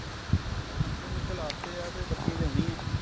ਹਾਂ ਨਕੇ ਨੂੰਕੇ ਖ਼ਿਲਾ ਤੇ ਹੈ ਤੇ ਬੱਤੀ ਲਿਆਉਣੀ।